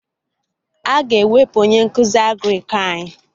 Aga ewepụ onye nkụzi Agrịk anyị